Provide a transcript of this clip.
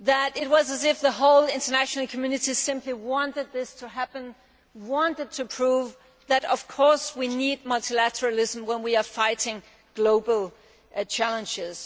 It was as though the whole international community simply wanted this to happen and wanted to prove that of course we need multilateralism when we are fighting global challenges.